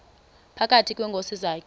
phakathi kweenkosi zakhe